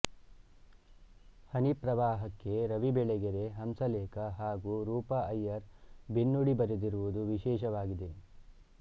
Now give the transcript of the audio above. ಹನಿಪ್ರವಾಹಕ್ಕೆ ರವಿ ಬೆಳೆಗೆರೆ ಹಂಸಲೇಖ ಹಾಗು ರೂಪಾ ಅಯ್ಯರ್ ಬೆನ್ನುಡಿ ಬರೆದಿರುವುದು ವಿಶೇಷವಾಗಿದೆ